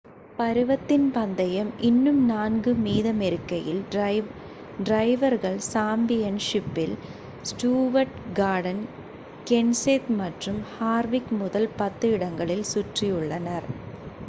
பருவத்தின் பந்தயம் இன்னும் நான்கு மீதமிருக்கையில் டிரைவர்கள் சாம்பியன் ஷிப்பில் ஸ்டூவர்ட் கார்டன் கென்செத் மற்றும் ஹார்விக் முதல் பத்து இடங்களில் சுற்றியுள்ளனர்